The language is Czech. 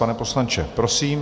Pane poslanče, prosím.